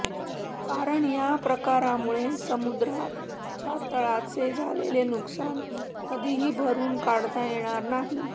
कारण या प्रकारांमुळे समुद्राच्या तळाचे झालेले नुकसान कधीही भरून काढता येणार नाही